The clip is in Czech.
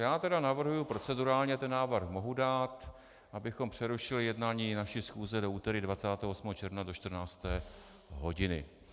Já tedy navrhuji, procedurálně ten návrh mohu dát, abychom přerušili jednání naší schůze do úterý 28. června do 14. hodiny.